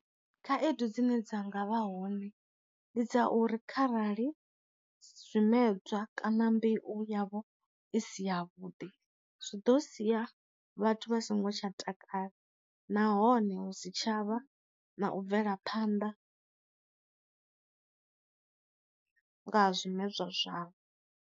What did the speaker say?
Khaedu dzine dza nga vha hone ndi dza uri kharali zwi medzwa kana mbeu yavho i si ya vhuḓi zwi ḓo sia vhathu vha songo tsha takala nahone hu si tshavha na u bvela phanḓa nga ha zwi medzwa zwavho.